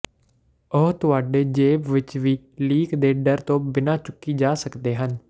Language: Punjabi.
ਉਹ ਤੁਹਾਡੇ ਜੇਬ ਵਿਚ ਵੀ ਲੀਕ ਦੇ ਡਰ ਤੋਂ ਬਿਨਾਂ ਚੁੱਕੀ ਜਾ ਸਕਦੇ ਹਨ